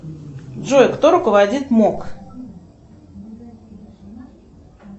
джой кто руководит мок